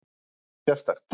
Um eitthvað sérstakt?